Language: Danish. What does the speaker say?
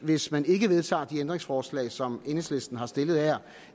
hvis man ikke vedtager de ændringsforslag som enhedslisten har stillet her